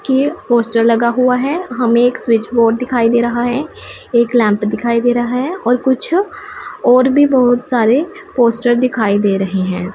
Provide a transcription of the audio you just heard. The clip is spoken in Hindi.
के पोस्टर लगा हुआ है हमें एक स्विच बोर्ड दिखाई दे रहा है एक लैंप दिखाई दे रहा है और कुछ और भी बहुत सारे पोस्टर दिखाई दे रहे हैं।